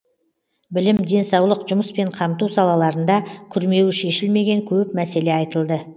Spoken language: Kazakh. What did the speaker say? білім денсаулық жұмыспен қамту салаларында күрмеуі шешілмеген көп мәселе айтылды